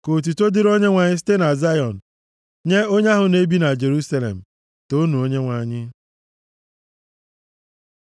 Unu ndị ụlọ Livayị, toonu Onyenwe anyị; unu ndị na-atụ egwu ya, toonu Onyenwe anyị.